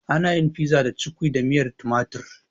Ana yin pizza da cukwi da miyar tumatir